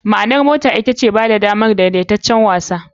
. Ma'anar ma'anar motar ita ce "yana ba da damar daidaitaccen watsa.